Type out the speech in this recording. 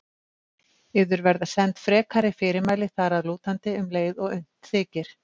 Yður verða send frekari fyrirmæli þar að lútandi um leið og unnt þykir.